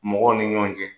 Mɔgɔw ni ɲɔgɔn cɛ